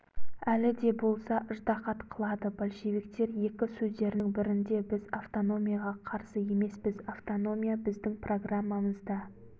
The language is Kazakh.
әлі де болса ыждағат қылады большевиктер екі сөздерінің бірінде біз автономияға қарсы емеспіз автономия біздің программамызда